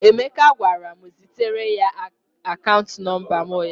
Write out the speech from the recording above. Emeka gwara m zitere ya akaant nọmba m ụnyahụ.